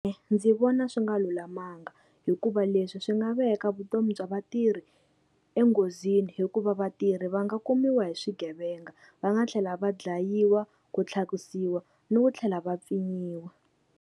Ndzi vona swi nga lulamanga hikuva leswi swi nga veka vutomi bya vatirhi enghozini, hikuva vatirhi va nga kumiwa hi swigevenga, va nga tlhela va dlayiwa, ku tlhakisiwa ni ku tlhela va pfinyiwa.